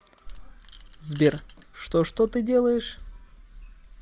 сбер что что ты делаешь